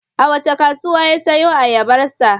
A wace kasuwa ya sayo ayabarsa?